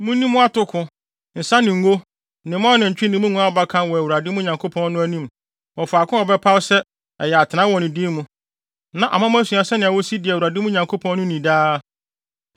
Munni mo atoko, nsa, ne ngo, ne mo anantwi ne nguan abakan wɔ Awurade, mo Nyankopɔn no, anim wɔ faako a ɔbɛpaw sɛ ɛyɛ atenae wɔ ne din mu na ama moasua sɛnea wosi di Awurade, mo Nyankopɔn no ni daa.